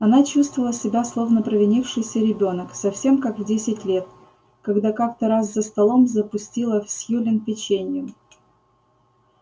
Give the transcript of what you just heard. она чувствовала себя словно провинившийся ребёнок совсем как в десять лет когда как-то раз за столом запустила в сьюлин печеньем